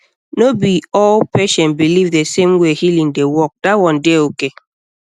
no be all um patient believe the same way um healing dey um work that one dey okay